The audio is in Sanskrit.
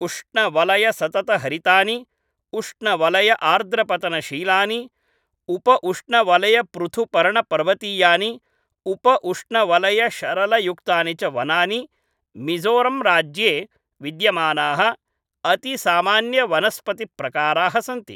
उष्णवलयसततहरितानि, उष्णवलयआर्द्रपतनशीलानि, उपउष्णवलयपृथुपर्णपर्वतीयानि, उपउष्णवलयशरलयुक्तानि च वनानि मिज़ोरम्राज्ये विद्यमानाः अतिसामान्यवनस्पतिप्रकाराः सन्ति।